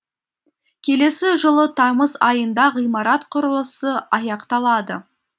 келесі жылы тамыз айында ғимарат құрылысы аяқталады